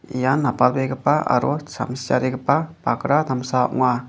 ian apalbegipa aro samsiarigipa bakra damsa ong·a.